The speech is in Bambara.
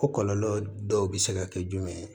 Ko kɔlɔlɔ dɔw bɛ se ka kɛ jumɛn ye